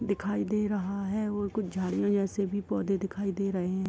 दिखाई दे रहा है और कुछ झाड़ियों जैसे भी पौधे दिखाई दे रहे हैं।